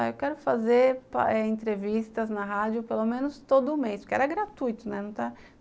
Eu quero fazer eh entrevistas na rádio pelo menos todo mês, porque era gratuito, né?